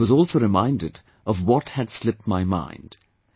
Thus I was also reminded of what had slipped my mind